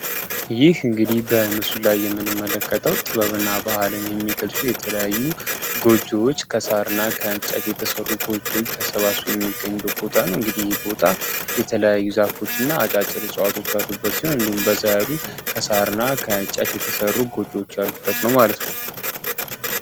ይህ እንግዲህ በምስሉ ላይ የምንመለከታው ጥበብ እና ባህልን የሚገልፁ የተለያዩ ጎጆዎች ከሳርና ከእንጨት የተሰሩ ጎጆዎች ተሰባስበው የሚገኝዱ ቦታ ነው። እንግዲህ ይህ ቦታ የተለያዩ ዛፎች እና አጫጭር ፅዋቶች አሉበት ሲሆን ሉን በዘያሉ ከሳርና ከእንጨት የተሠሩ ጎጆዎች ያሉበት ነው።